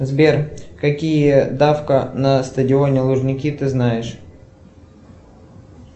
сбер какие давка на стадионе лужники ты знаешь